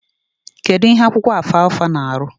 Kedu ihe akwụkwọ alfalfa na arụ?